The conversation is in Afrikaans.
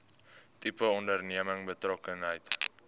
tipe onderneming betrokkenheid